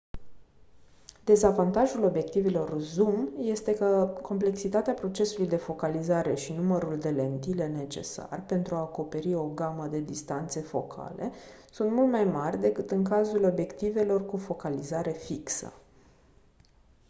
dezavantajul obiectivelor zoom este că complexitatea procesului de focalizare și numărul de lentile necesar pentru a acoperi o gamă de distanțe focale sunt mult mai mari decât în cazul obiectivelor cu focalizare fixă